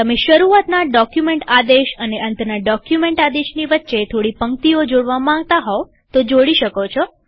તમે શરૂઆતના ડોક્યુમેન્ટ આદેશ અને અંતના ડોક્યુમેન્ટ આદેશની વચ્ચે થોડી પંક્તિઓ જોડવા માંગતા હોવ તો જોડી શકો છો